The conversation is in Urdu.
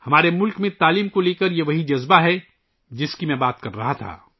ہمارے ملک میں تعلیم کے حوالے سے یہی وہ جذبہ ہے ، جس کی میں بات کر رہا تھا